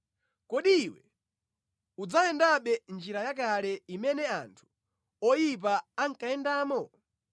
Kodi iwe udzayendabe mʼnjira yakale imene anthu oyipa ankayendamo?